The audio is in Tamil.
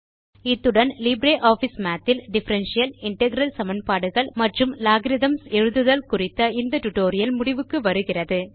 இத்துடன் லிப்ரியாஃபிஸ் மாத் இல் டிஃபரன்ஷியல் இன்டெக்ரல் சமன்பாடுகள் மற்றும் logarithmகள் எழுதுதல் குறித்த இந்த டுடோரியல் முடிவுக்கு வருகிறது